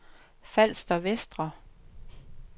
Falster Vestre